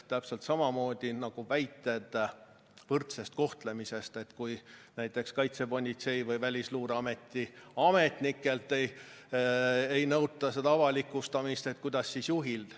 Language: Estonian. Täpselt samamoodi nagu väited võrdsest kohtlemisest: et kui Kaitsepolitseiameti ja Välisluureameti ametnikelt ei nõuta seda avalikustamist, kuidas siis juhilt.